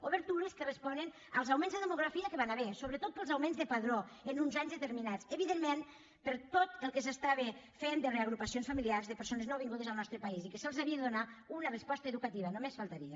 obertures que responen als augments de demografia que hi van haver sobretot pels augments de padró en uns anys determinats evidentment per tot el que s’estava fent de reagrupacions familiars de persones nouvingudes al nostre país i que se’ls havia de donar una resposta educativa només faltaria